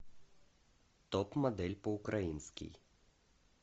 топ модель по украински